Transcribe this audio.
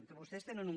que vostès tenen un